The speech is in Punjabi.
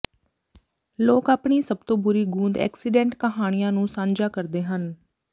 ਲੋਕ ਆਪਣੀ ਸਭ ਤੋਂ ਬੁਰੀ ਗੂੰਦ ਐਕਸੀਡੈਂਟ ਕਹਾਣੀਆਂ ਨੂੰ ਸਾਂਝਾ ਕਰਦੇ ਹਨ